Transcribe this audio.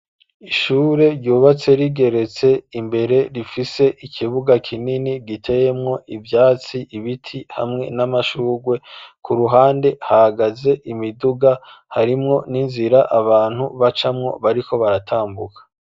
Ishure ryubatse , rigeretse, imbere rifise ikibuga kinini, giteyemwo ivyatsi, ibiti ,hamwe n'amashugwe ,ku ruhande hagaze imiduga harimwo, n'inzira abantu bacamwo bariko baratambuka.